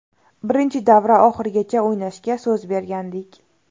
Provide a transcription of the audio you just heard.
Birinchi davra oxirigacha o‘ynashga so‘z bergandik.